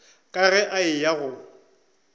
ka ge a eya go